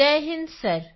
Jai Hind sir